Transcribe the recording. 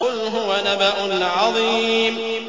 قُلْ هُوَ نَبَأٌ عَظِيمٌ